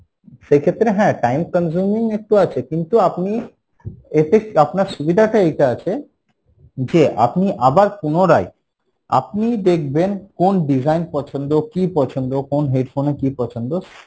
সেক্ষেত্রে হ্যাঁ time consuming একটু আছে কিন্তু আপনি এতে আপনার সুবিধা টা এইটা আছে যে আপনি আবার পুনরায় আপনি দেখবেন কোন design পছন্দ কি পছন্দ কোন headphone এ কি পছন্দ